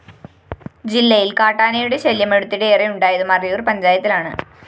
ജില്ലയില്‍ കാട്ടാനയുടെ ശല്യം അടുത്തിടെ ഏറെയുണ്ടായത് മറയൂര്‍ പഞ്ചായത്തിലാണ്